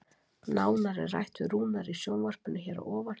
Nánar er rætt við Rúnar í sjónvarpinu hér að ofan.